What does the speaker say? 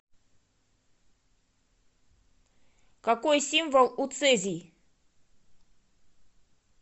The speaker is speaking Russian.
какой символ у цезий